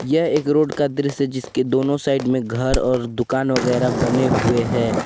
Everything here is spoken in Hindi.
यह एक रोड का दृश्य जिसके दोनों साइड में घर और दुकान वगैरा बने हुए हैं।